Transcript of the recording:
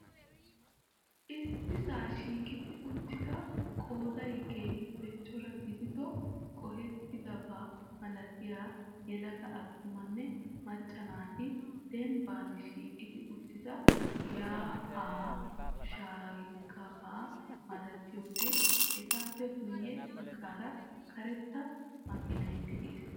Issisaa shiiqi uttida qooday keehiippe cora gidido, qohettidabaa malattiya yelaga atumanne macca naati dembbaan shiiqi uttida yaa'aa shaakkiyabaa malattiyode etappe guyee bagaara karetta makiinay dees.